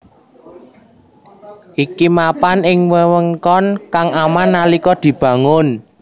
Iki mapan ing wewengkon kang aman nalika dibangun